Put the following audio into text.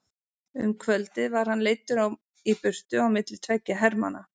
Um kvöldið var hann leiddur í burtu á milli tveggja hermanna.